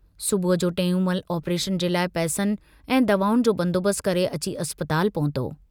सुबुह जो टेऊंमल आपरेशन जे लाइ पैसनि ऐं दवाउनि जो बंदोबस्तु करे अची अस्पताल पहुतो।